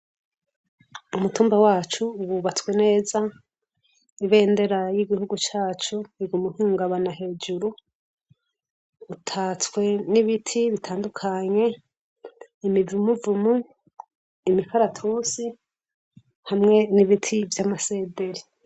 Umutumba wacu wubatswe neza ibendera y'igihugu cacu iguma hungabana hejuru utatswe n'ibiti bitandukanye imibumuvumu imikaratusi hamwe n'ibiti vy'amasederi.